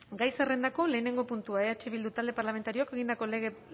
gai zerrendako lehenengo puntua eh bildu talde parlamentarioak egindako